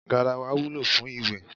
Garawa wúlò fún iwe.